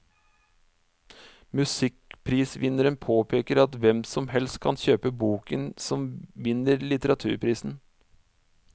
Musikkprisvinneren påpeker at hvem som helst kan kjøpe boken som vinner litteraturprisen.